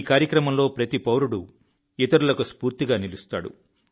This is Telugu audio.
ఈ కార్యక్రమంలో ప్రతి దేశస్థుడు ఇతర దేశస్థులకు స్ఫూర్తిగా నిలుస్తాడు